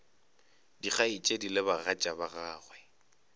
dikgaetšedi le bagatša ba gagwe